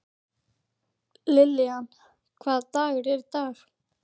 Lillian, hvaða dagur er í dag?